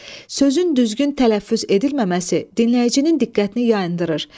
Sözün düzgün tələffüz edilməməsi dinləyicinin diqqətini yayındırır.